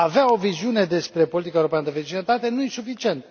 A avea o viziune despre politica europeană de vecinătate nu e suficient.